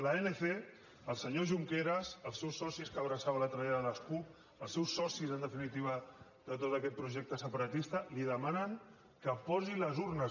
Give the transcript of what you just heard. l’anc el senyor junqueras els seus socis que abraçava l’altre dia de les cup els seus socis en definitiva de tot aquest projecte separatista li demanen que posi les urnes